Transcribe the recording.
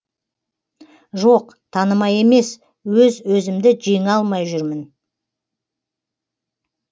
жоқ танымай емес өз өзімді жеңе алмай жүрмін